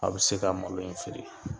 A bi se ka malo in feere.